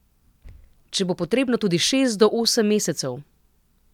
Če bo potrebno tudi šest do osem mesecev.